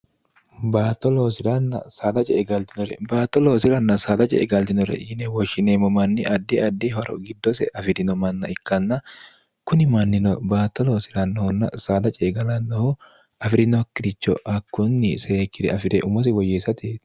bato loosirann sdce egaltinore baatto loosiranna saada ce e galtinore yine woshshineemmo manni addi addi horo giddose afi'rino manna ikkanna kuni mannino baatto loosirannohunna saada ce egalannohu afi'rinokkiricho hakkunni seekkire afi're umose woyyeessatit